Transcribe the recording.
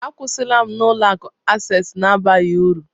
Akwụsịla m na Ụlọ akụ Access na-abaghị uru